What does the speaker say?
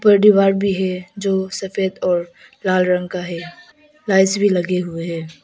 दीवार भी है जो सफेद और लाल रंग का है लाइट्स भी लगे हुए हैं।